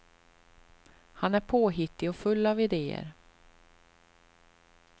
Han är påhittig och full av ideer.